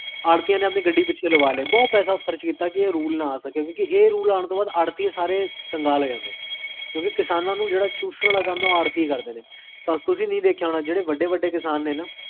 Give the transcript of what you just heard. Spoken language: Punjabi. ਕ੍ਵੇ